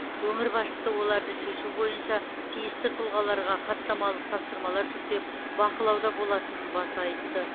өңір басшысы оларды шешу бойынша тиісті тұлғаларға хаттамалық тапсырмалар жүктеп бақылауда болатынын баса айтты